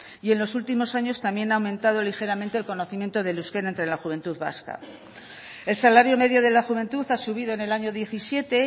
y en los últimos años también ha aumentado ligeramente el conocimiento del euskera entre la juventud vasca el salario medio de la juventud ha subido en el año diecisiete